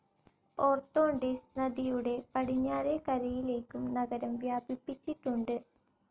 Orontes നദിയുടെ പടിഞ്ഞാറേ കരയിലേക്കും നഗരം വ്യാപിപിച്ചിട്ടുണ്ട്.